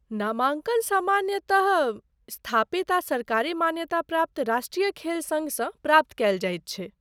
नामाङ्कन सामाान्यतः स्थापित आ सरकारी मान्यता प्राप्त राष्ट्रीय खेल सङ्घसँ प्राप्त कएल जाइत छैक।